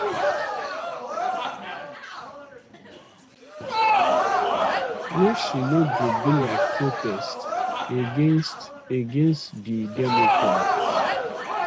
wey she know go be like protest against against di democrats